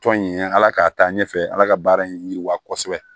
Tɔn in ye ala k'a taa ɲɛfɛ ala ka baara in yiriwa kosɛbɛ